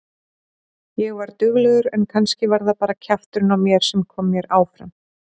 Ég var duglegur en kannski var það bara kjafturinn á mér sem kom mér áfram.